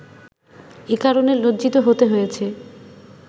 এ কারণে লজ্জিত হতে হয়েছে